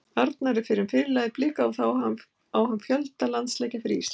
Arnar er fyrrum fyrirliði Blika og þá á hann fjölda landsleikja fyrir Ísland.